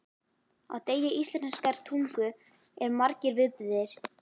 Á degi íslenskrar tungu eru margir viðburðir.